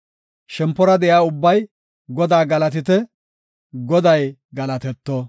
Shempora de7iya ubbay Godaa galatite! Goday galatetto!